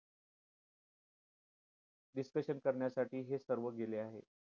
discussion करण्यासाठी हे सर्व गेले आहे